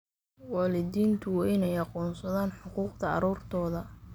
Waalidiintu waa inay aqoonsadaan xuquuqda carruurtooda.